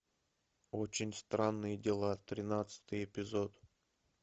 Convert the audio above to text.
очень странные дела тринадцатый эпизод